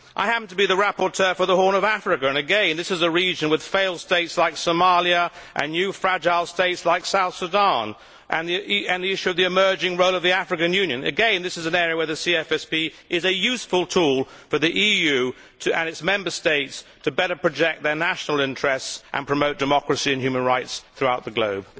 I happen to be the rapporteur for the Horn of Africa and again this is a region with failed states like Somalia and new fragile states like South Sudan and the issue of the emerging role of the African Union. Again, this is an area where the CFSP is a useful tool for the EU and its Member States, to better project their national interests and promote democracy and human rights throughout the globe.